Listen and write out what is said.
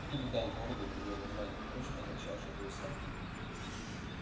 кто-то дал городу другое название впрочем означавшее то же самое